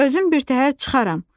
Özüm birtəhər çıxaram."